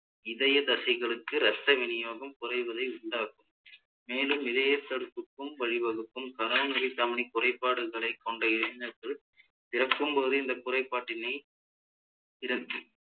இதயத்தசைகளுக்கு இரத்த விநியோகம் குறைவதை உண்டாக்கும் மேலும் இதயத்தடுப்புக்கும் வழிவகுக்கும் coronary தமனி குறைபாடுகளை கொண்ட இளைஞர்கள் பிறக்கும் போதே இந்த குறைபாட்டினை